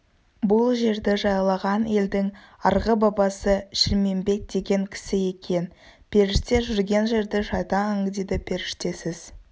бұл жерді жайлаған елдің арғы бабасы шілмембет деген кісі екен періште жүрген жерді шайтан аңдиды періштесіз